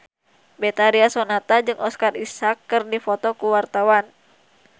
Betharia Sonata jeung Oscar Isaac keur dipoto ku wartawan